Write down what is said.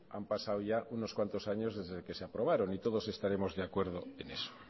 han pasado ya unos cuantos años desde que se aprobaron y todos estaremos de acuerdo en eso